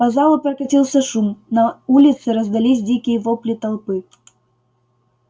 по залу прокатился шум на улице раздались дикие вопли толпы